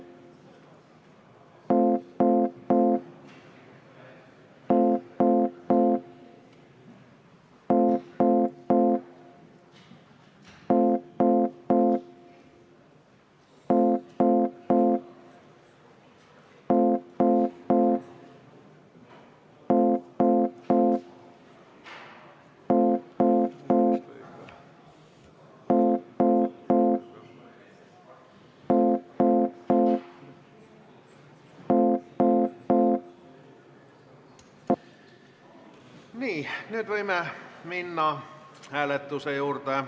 Nii, nüüd võime minna hääletuse juurde.